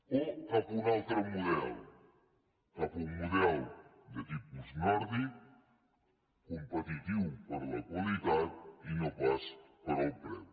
o cap a un altre model cap a un model de tipus nòrdic competitiu per la qualitat i no pas pel preu